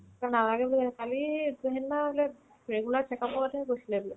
to নালাগে বোলে কালি সিদনা বোলে regular checkup ত হে গৈছিলে বোলে